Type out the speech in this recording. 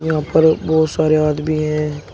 यहां पर बहुत सारे आदमी हैं।